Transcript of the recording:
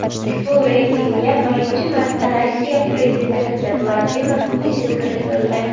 Ushbu reytingga birinchi marta Rossiya prezidenti Vladimir Putin kiritildi.